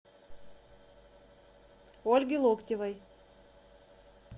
ольге локтевой